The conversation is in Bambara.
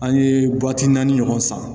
An ye naani ɲɔgɔn san